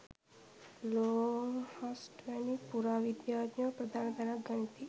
Longhurst වැනි පුරා විද්‍යාඥයෝ ප්‍රධාන තැනක් ගනිති.